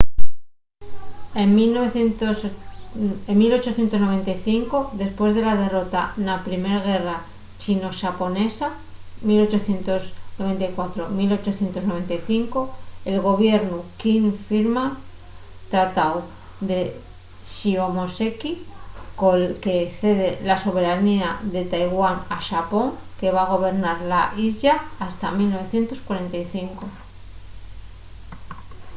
en 1895 depués de la derrota na primer guerra chino-xaponesa 1894-1895 el gobiernu quing firma’l tratáu de shimonoseki col que cede la soberanía de taiwán a xapón que va gobernar la islla hasta 1945